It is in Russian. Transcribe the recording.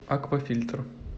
аквафильтр